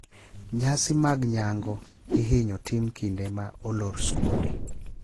Nyasi magnyango ihinyo tim kinde ma olor skunde.